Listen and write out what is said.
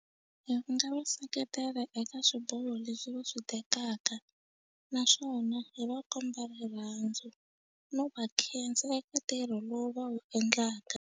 Hi nga va seketela eka swiboho leswi va swi tekaka naswona hi va komba rirhandzu no va khensa eka ntirho lowu va wu endlaka.